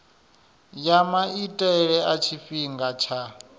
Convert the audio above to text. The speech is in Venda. ya maitele a tshifhinga tsha